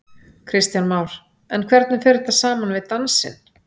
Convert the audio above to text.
Kristján Már: En hvernig fer þetta saman við dansinn?